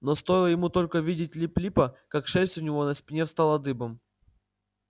но стоило ему только увидеть лип липа как шерсть у него на спине встала дыбом